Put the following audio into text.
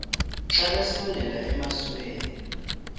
xa besondela emasuie